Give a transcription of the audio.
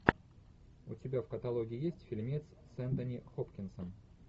у тебя в каталоге есть фильмец с энтони хопкинсом